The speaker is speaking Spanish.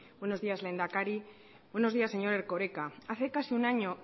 buenos días lehendakari buenos días señor erkoreka hace casi un año